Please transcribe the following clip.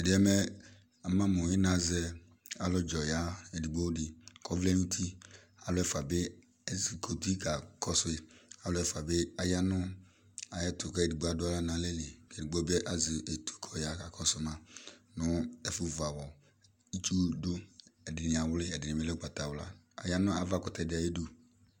Tʋ ɛdɩ yɛ mɛ ama mʋ ɩnazɛ alʋdzɔ ya edigbo dɩ, kʋ ɔvlɛ nʋ uti, alʋ ɛfʋa bɩ ezikuti kakɔsʋ yɩ, alʋ ɛfʋa bɩ aya nʋ ayʋ ɛtʋ, kʋ edigbo adʋ aɣla nʋ alɛ li, edigbo bɩ azɛ etu kʋ ɔya kakɔsʋ ma nʋ ɛfʋ vu aɣɔ, itsu dʋ, ɛdɩnɩ awlɩ ɛdɩnɩ bɩ alɛ ʋgbatawla Aya nʋ ava kʋtɛ dɩ ayʋ idu